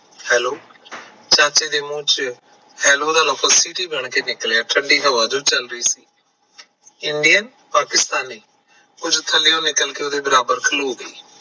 ਚਾਚੇ ਦੇ ਮੂੰਹ ਚੋਂ hello ਦਾ ਲਫਜ ਸਿੱਧਾ ਬਣ ਕੇ ਨਿਕਲਿਆ ਠੰਡੀ ਹਵਾ ਜੋ ਚਲ ਰਹੀ ਸੀ Indian ਪਾਕਿਸਤਾਨੀ ਕੁਝ ਥੱਲਿਓ ਨਿਕਲ ਕੇ ਉਹਦੇ ਬਰਾਬਰ ਖਲੋ ਗਿਆ